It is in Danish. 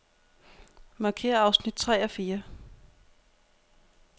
Markér afsnit tre og fire.